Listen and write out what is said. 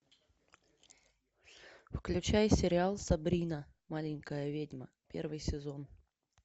включай сериал сабрина маленькая ведьма первый сезон